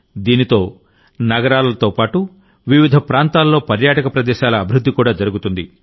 దీంతో నగరాలతో పాటు వివిధ ప్రాంతాలలో పర్యాటక ప్రదేశాల అభివృద్ధి కూడా జరుగుతుంది